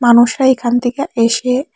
মানুষরা এখান থেকে এসে--